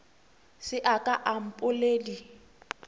se a ka a mpoledi